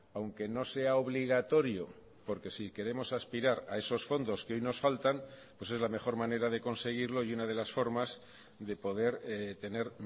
aunque no sea obligatorio porque si queremos aspirar a esos fondos que hoy nos faltan pues es la mejor manera de conseguirlo y una de las formas de poder tener